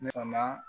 Na